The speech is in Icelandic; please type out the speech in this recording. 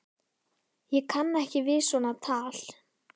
Ég kann ekki við svona tal!